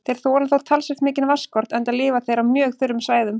Þeir þola þó talsvert mikinn vatnsskort enda lifa þeir á mjög þurrum svæðum.